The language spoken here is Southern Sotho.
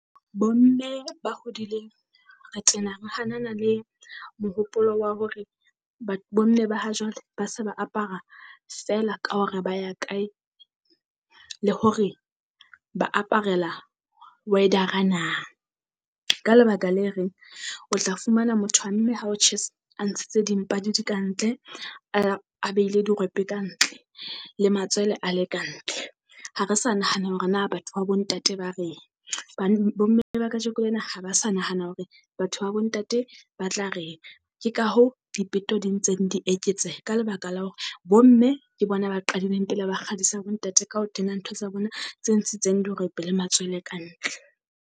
Bo mme ba hodileng re tena re hanana le mohopolo wa hore ba bo mme ba ha jwale ba se ba apara ka hore ba ya kae, le hore ba aparela na. Ka lebaka le reng o tla fumana motho wa mme ha o tjhesa a ntshitse dimpa di le ka ntle, a beile dirope ka ntle. Le matswele a le ka ntle, ha re sa nahana hore na batho ba bo ntate ba reng. Bo mme ba kajeko lena ha ba sa nahana hore batho ba bo ntate ba tla reng. Ke ka hoo dipeto di ntseng di eketseha ka lebaka la hore bo mme ke bona ba qadileng pele ba kgadisa bo ntate ka o tena ntho tsa bona tse ntshitseng dirope le matswele ka ntle.